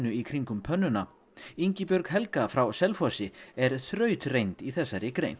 í kringum pönnuna Ingibjörg Helga frá Selfossi er þrautreynd í þessari grein